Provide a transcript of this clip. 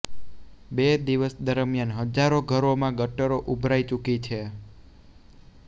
બે દિવસ દરમ્યાન હજારો ઘરોમાં ગટરો ઉભરાઈ ચુકી છે